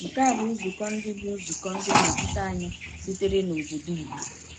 Nke a bụ nzukọ ndị bụ nzukọ ndị nnọchiteanya sitere n’obodo Igbo.